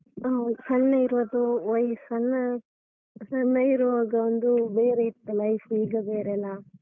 ಹೌದು ಸಣ್ಣ ಇರುವುದು ವಯ್ಸನ್ನ ಸಣ್ಣ~ ಸಣ್ಣ ಇರುವಾಗ ಒಂದು ಬೇರೆ ಇತ್ತು life ಈಗ ಬೇರೆ ಅಲ್ಲ.